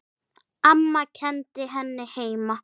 Amma kenndi henni heima.